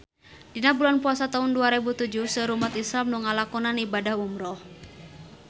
Dina bulan Puasa taun dua rebu tujuh seueur umat islam nu ngalakonan ibadah umrah